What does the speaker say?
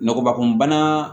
Ngɔbɔbakunbana